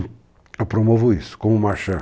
Eu promovo isso, como Marchand.